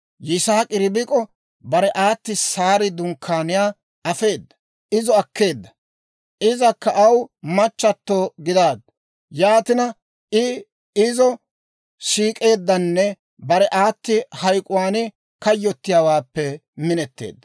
Yisaak'i Ribik'o bare aati Saari dunkkaaniyaa afeedda. Izo akeedda; izakka aw machchatto gidaaddu. Yaatina I izo siik'eeddanne bare aati hayk'k'uwaan kayyottiyaawaappe minetteedda.